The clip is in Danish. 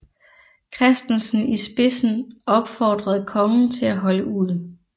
Christensen i spidsen opfordrede kongen til at holde ud